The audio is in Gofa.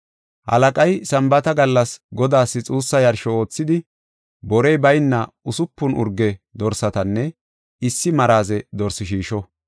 Halaqay Sambaata gallas Godaas xuussa yarsho oothidi, borey bayna usupun urge dorsatanne issi maraze dorsi shiisho.